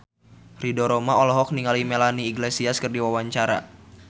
Ridho Roma olohok ningali Melanie Iglesias keur diwawancara